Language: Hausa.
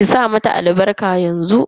Ki sa mata albarka yanzu.